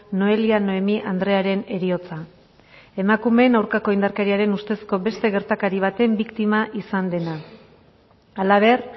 noelia noemi andrearen heriotza emakumeen aurkako indarkeriaren ustezko beste gertakari baten biktima izan dena ala ber